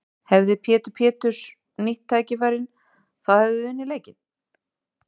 Hefði Pétur Péturs nýtt færin þá hefðuð þið unnið leikinn?